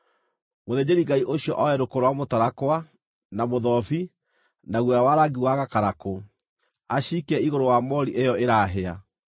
Mũthĩnjĩri-Ngai ũcio oe rũkũ rwa mũtarakwa, na mũthobi, na guoya wa rangi wa gakarakũ, aciikie igũrũ wa moori ĩyo ĩrahĩa.